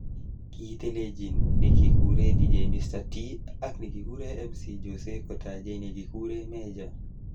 Kitelejin nekikure Dj Mr .T ak nekikure MC Jose kotajei nekikure Mejja.